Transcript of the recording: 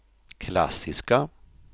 klassiska